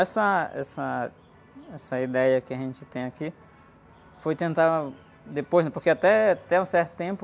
Essa, essa, essa ideia que a gente tem aqui, foi tentar depois, né? Porque até, até um certo tempo,